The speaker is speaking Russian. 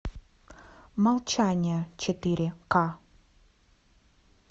молчание четыре ка